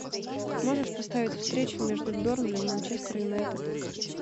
можешь поставить встречу между бернли и манчестер юнайтед